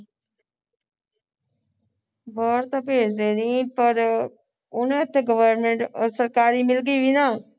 ਬਾਹਰ ਤੇ ਭੇਜ ਦੇਣੀ ਪਰ ਉਹਨੇ ਇੱਥੇ government ਸਰਕਾਰੀ ਮਿਲ ਗਈ ਸੀ ਨਾ